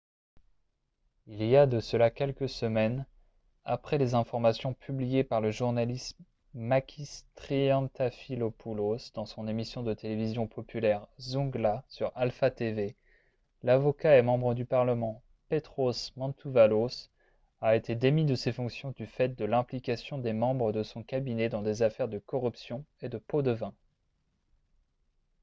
il y a de cela quelques semaines après les informations publiées par le journaliste makis triantafylopoulos dans son émission de télévision populaire « zoungla » sur alpha tv l'avocat et membre du parlement petros mantouvalos a été démis de ses fonctions du fait de l'implication des membres de son cabinet dans des affaires de corruption et de pots-de-vin